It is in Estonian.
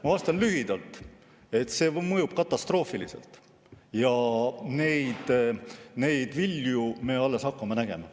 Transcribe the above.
Ma vastan lühidalt, et see mõjub katastroofiliselt ja neid vilju me alles hakkame nägema.